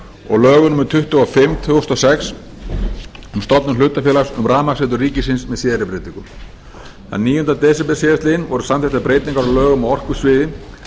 og lögum númer tuttugu og fimm tvö þúsund og sex um stofnun hlutafélags um rafmagnsveitur ríkisins með síðari breytingum þann níunda desember síðastliðnum voru samþykktar breytingar á lögum á orkusviði sem